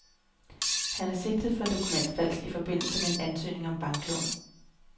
Han er sigtet for dokumentfalsk i forbindelse med ansøgning om banklån.